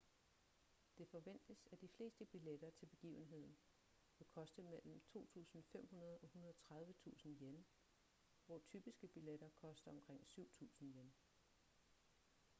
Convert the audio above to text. det forventes at de fleste billetter til begivenheden vil koste mellem ¥2.500 og ¥130.000 hvor typiske billetter koster omkring ¥7.000